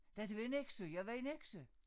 Da har det været Nexø jeg var i Nexø